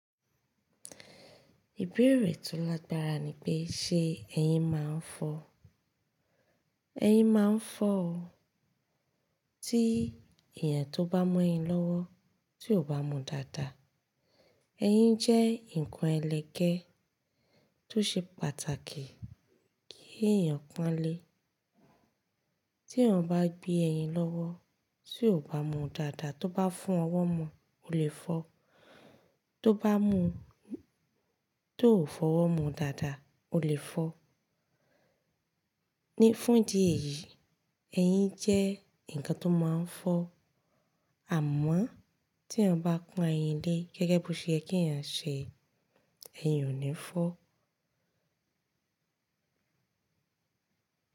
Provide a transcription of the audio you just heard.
Ìbéèrè tó lágbára ni pé ṣe ẹyin máa ń fọ́? Ẹyin máa ń fọ́ o. Tí èèyàn tó bá mọ́ yin lọ́wọ́ tí ò bá mu dáadáa. Eyin jẹ́ ǹkan ẹlẹgẹ́ tó ṣe pàtàkì kí èèyàn pọ́ńlé. Tí èèyàn bá gbé ẹyin lọ́wọ́ tí ò bá mu dáadáa, tó bá fún ọwọ́ mọ́ o le fọ́, tó bá mu tó ò fọwọ́ mu dáadáa o le fọ́. Ní fún ìdí èyí, ẹyin jẹ́ ǹkan tó máa ń fọ́ àmọ́ tí èèyàn bá kún ayín lé gẹ́gẹ́ bí ṣe kí ẹ̀yàn ṣe, ẹyin ò ní fọ́